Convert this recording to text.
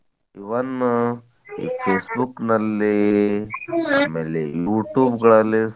Even Facebook ನಲ್ಲಿ ಆಮೇಲೆ Youtube ಗಳಲ್ಲಿ